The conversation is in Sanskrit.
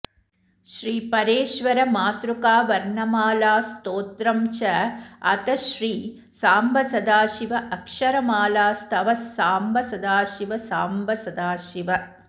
श्रीपरेश्वर मातृकावर्णमालास्तोत्रम् च अथ श्री सांब सदाशिव अक्षरमालास्तवः सांब सदाशिव सांब सदाशिव